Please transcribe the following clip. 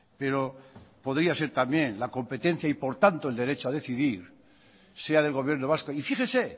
pero podría ser también la competencia y por tanto el derecho a decir sea del gobierno vasco y fíjese